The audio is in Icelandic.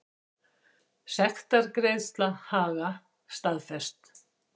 Sektargreiðsla Haga staðfest